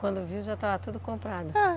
Quando viu já estava tudo comprado? É.